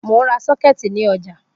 Mo n ra sockets ni oja